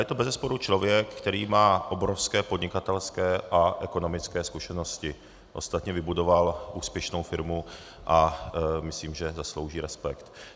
Je to bezesporu člověk, který má obrovské podnikatelské a ekonomické zkušenosti, ostatně vybudoval úspěšnou firmu a myslím, že zaslouží respekt.